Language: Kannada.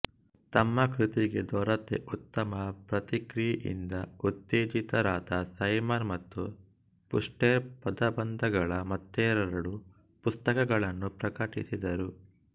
ತಮ್ಮ ಕೃತಿಗೆ ದೊರೆತ ಉತ್ತಮ ಪ್ರತಿಕ್ರಿಯೆಯಿಂದ ಉತ್ತೇಜಿತರಾದ ಸೈಮನ್ ಮತ್ತು ಪುಸ್ಟೆರ್ ಪದಬಂಧಗಳ ಮತ್ತೆರಡು ಪುಸ್ತಕಗಳನ್ನು ಪ್ರಕಟಿಸಿದರು